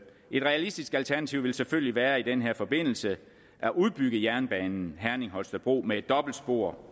et realistisk alternativ vil selvfølgelig være i den her forbindelse at udbygge jernbanen herning holstebro med et dobbeltspor